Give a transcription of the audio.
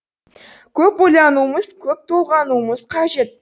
көп ойлануымыз көп толғануымыз қажет